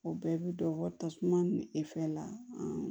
O bɛɛ bi don wari tasuma e fɛ la